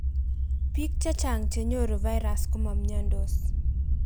biik chechang chenyoru virus komamiondos